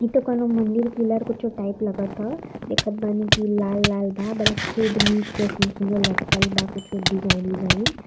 इ त कौनो मंदिर पिलर कुछ टाइप लगत ह। देखत बानी की लाल लाल बा। बड़ा बड़ा खूब निक लागत सुंदर लगता बाकी खूब डिजाइन विजाइन।